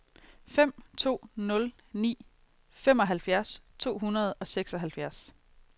fem to nul ni femoghalvfjerds to hundrede og seksoghalvfjerds